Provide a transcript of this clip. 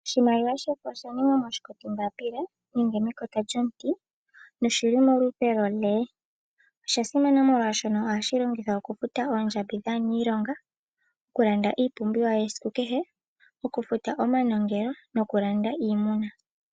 Oshimaliwa shofo osha ningwa moshikoti mbapila nenge mekota lyomuti. Noshili molupe lwone. Osha simana molwashino ohashi longithwa oku futa oondjambi dhaaniilonga. Oku landa iipumbiwa yesiku kehe , oku futa omanongelo noku landa iimuna.